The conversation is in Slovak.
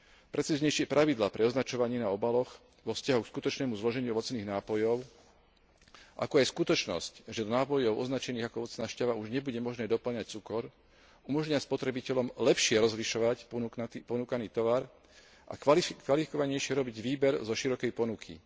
Precíznejšie pravidlá pre označovanie na obaloch vo vzťahu k skutočnému zloženiu ovocných nápojov, ako aj skutočnosť, že do nápojov označených ako ovocná šťava už nebude možné dopĺňať cukor, umožnia spotrebiteľom lepšie rozlišovať ponúkaný tovar a kvalifikovanejšie robiť výber zo širokej ponuky.